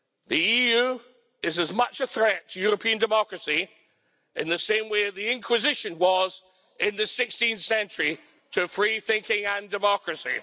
The EU is as much a threat to European democracy in the same way the Inquisition was in the 16th century to free thinking and democracy.